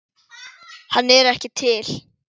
Hann er ekki til!